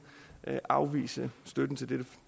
afvise støtten til dette